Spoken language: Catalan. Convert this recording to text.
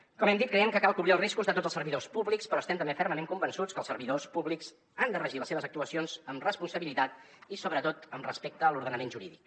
com hem dit creiem que cal cobrir els riscos de tots els servidors públics però estem també fermament convençuts que els servidors públics han de regir les seves actuacions amb responsabilitat i sobretot amb respecte a l’ordenament jurídic